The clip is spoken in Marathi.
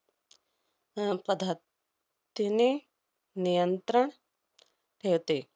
अह पध~ तीने नियंत्रण ठेवते.